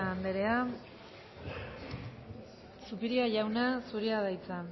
anderea zubiria jauna zurea da hitza